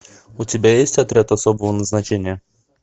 у тебя есть отряд особого назначения